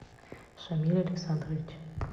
шамиль александрович